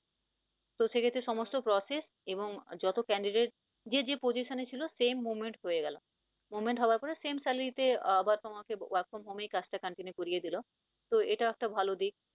তো সে ক্ষেত্রে সমস্ত process এবং যত candidate যে যে position এ ছিল same moment হয়ে গেল। moment হওয়ার পরে same salary তে আবার তোমাকে work from home এই কাজটা continue করিয়ে দিল। তো এটাও একটা ভাল দিক।